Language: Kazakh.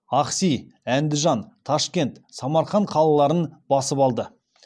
ахси әндіжан ташкент самарқан қалаларын басып алды